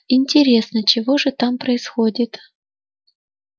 интересно чего же там происходит